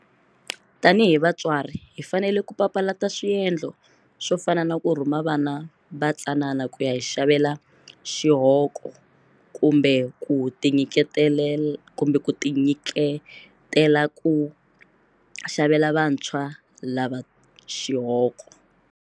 Tanihi vatswatsi hi fanele ku papalata swiendlo swo fana na ku rhuma vana vatsanana ku ya hi xavela xihoko kumbe ku tinyiketela ku xavela vantshwa lava xihoko.